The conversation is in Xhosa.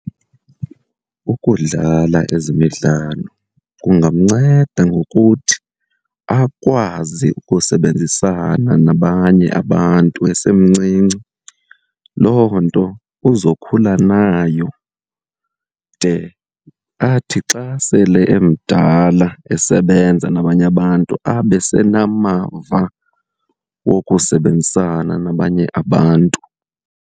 Ukudlala ezemidlalo kungamnceda ngokuthi akwazi ukusebenzisana nabanye abantu esemncinci. Loo nto uzokhula nayo de athi xa sele emdala esebenza nabanye abantu, abe senamava wokusebenzisana nabanye abantu.